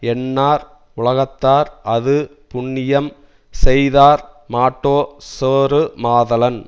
எண்ணார் உலகத்தார் அது புண்ணியம் செய்யாதார்மாட்டோ சேருமாதலான்